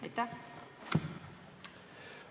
Aitäh!